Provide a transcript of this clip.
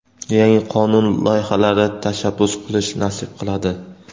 yangi qonun loyihalari tashabbus qilish nasib qiladi.